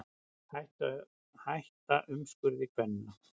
Hætta umskurði kvenna